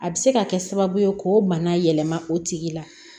A bɛ se ka kɛ sababu ye k'o bana yɛlɛma o tigi la